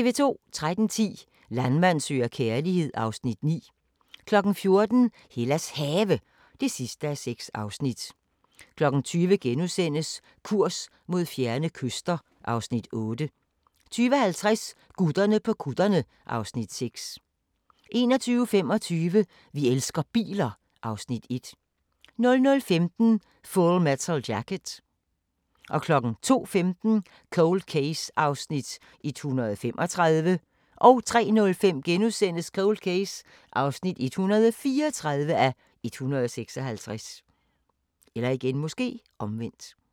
13:10: Landmand søger kærlighed (Afs. 9) 14:00: Hellas Have (6:6) 20:00: Kurs mod fjerne kyster (Afs. 8)* 20:50: Gutterne på kutterne (Afs. 6) 21:25: Vi elsker biler (Afs. 1) 00:15: Full Metal Jacket 02:15: Cold Case (135:156) 03:05: Cold Case (134:156)*